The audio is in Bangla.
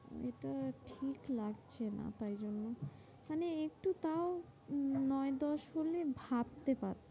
এটা ঠিক লাগছে না, তাই জন্য মানে একটু তাও উম নয় দশ হলে ভাবতে পারব,